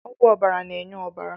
Ọgwụ ọbara na-enye ọbara